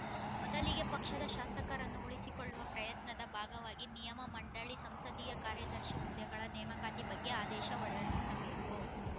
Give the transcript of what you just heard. ಮೊದಲಿಗೆ ಪಕ್ಷದ ಶಾಸಕರನ್ನು ಉಳಿಸಿಕೊಳ್ಳುವ ಪ್ರಯತ್ನದ ಭಾಗವಾಗಿ ನಿಯೆಮಮಂಡಳಿ ಸಂಸದೀಯ ಕಾರ್ಯದರ್ಶಿ ಹುದ್ದೆಗಳ ನೇಮಕಾತಿ ಬಗ್ಗೆ ಆದೇಶ ಹೊರಡಿಸಬೇಕು